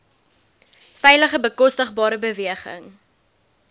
veilige bekostigbare beweging